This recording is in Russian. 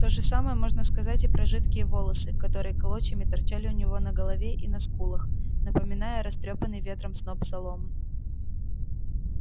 то же самое можно сказать и про жидкие волосы которые клочьями торчали у него на голове и на скулах напоминая растрёпанный ветром сноп соломы